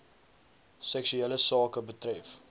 seksuele sake betref